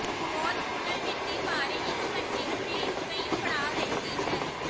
ਵਾਲ ਪੁਨਰ ਵਿਧੀ ਬਾਰੇ ਇੱਕ ਘੰਟੇ ਅਤੇ ਕਈ ਪੜਾਅ ਰਹਿੰਦੀ ਹੈ